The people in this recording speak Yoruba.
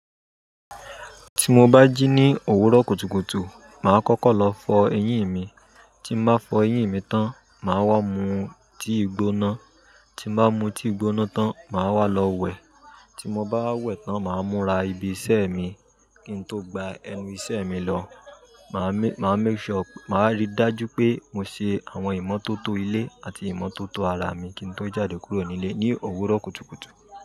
Tí mo bá jí ní òwúrọ̀ kùtùkùtù, ma kọ́kọ́ lọ fọ eyín mi, tí n ma fọ eyín mi tán, ma wá mu tea gbóná, tí n ma mu tea gbóná tán, ma wá lọ wẹ̀, tí mo bá wá wẹ̀ tán, ma múra ibi iṣẹ́ mi kín n tó gba ẹnu iṣẹ́ mi lọ. Ma rí dájú pé mo ṣe àwọn ìmọ́tótó ilé àti ìmọ́tótó ara mi kí n tó jáde kúrò nílé ní owuroọ kùtùkùtù.